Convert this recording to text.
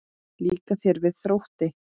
Líkar þér vel hjá Þrótti?